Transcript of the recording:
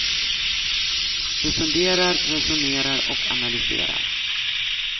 De funderar, resonerar och analyserar.